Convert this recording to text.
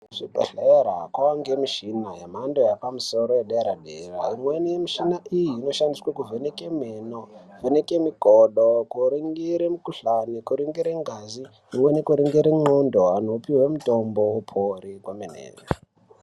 Kuzvibhehlera kwavangemichina yemhando yepamosoro yedera-dera. Imweni yemichina iyi inshandiswe kuvheneke meno, kuvheneke mikodo, kuringire mukuhlani, kuringire ngazi. Imweni kuringire ndxondo, antu opihwe mutombo opore kwemene.